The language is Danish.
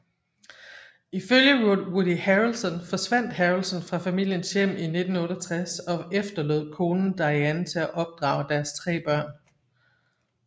Ifølge Woody Harrelson forsvandt Harrelson fra familiens hjem i 1968 og efterlod konen Diane til at opdrage deres tre børn